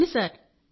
అవును సార్